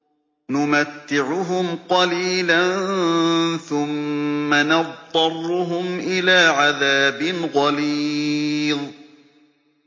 نُمَتِّعُهُمْ قَلِيلًا ثُمَّ نَضْطَرُّهُمْ إِلَىٰ عَذَابٍ غَلِيظٍ